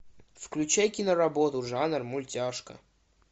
включай киноработу жанр мультяшка